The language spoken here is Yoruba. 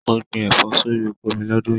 Mo gbìn ẹfọ sórí oko mí l'ọdun yìí.